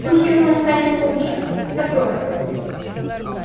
пусть чёрной станет его душа которая